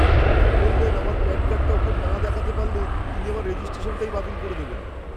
তিনি তো বললেন আমার প্যান কার্ডটা ওঁকে না দেখাতে পারলে তিনি আমার রেজিস্ট্রেশনটাই বাতিল করে দেবেন।